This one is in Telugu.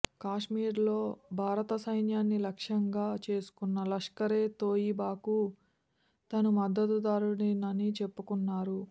కాశ్మీర్లో భారత సైన్యాన్ని లక్ష్యంగా చేసుకున్న లష్కరే తోయిబాకు తాను మద్దతుదారుడినని చెప్పుకున్నారు